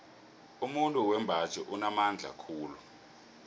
umuntu wembaji unamandla khulu